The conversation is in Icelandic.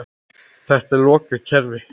Þetta er lokað kerfi.